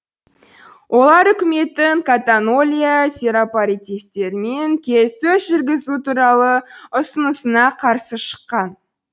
олар үкіметтің каталония серапаратистерімен келіссөз жүргізу туралы ұсынысына қарсы шыққан